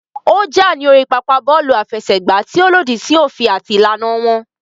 Ó jà ní orí pápá bọ́ọ̀lù àfẹsẹ̀gbá tí ó lòdì sí òfin àti ìlànà wọn